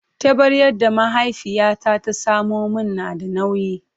Taɓaryar da mahaifiyata ta samo min na da nauyi.